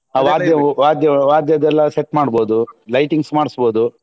ಹ ವಾದ್ಯ ವಾದ್ಯ ವಾದ್ಯದ್ದೆಲ್ಲ set ಮಾಡ್ಸಬೋದು lightings ಮಾಡ್ಸ್ಬೋದು.